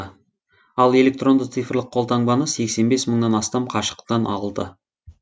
ал электронды цифрлық колтаңбаны сексен бес мыңнан астам қашықтан алды